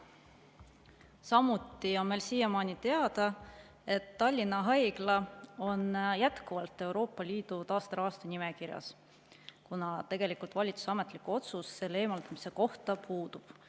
Samuti on meil siiamaani teada, et Tallinna Haigla on jätkuvalt Euroopa Liidu taasterahastu nimekirjas, kuna tegelikult valitsuse ametlik otsus selle eemaldamise kohta sealt puudub.